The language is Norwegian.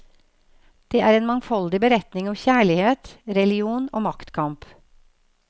Det er en mangfoldig beretning om kjærlighet, religion og maktkamp.